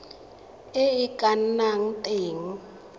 e e ka nnang teng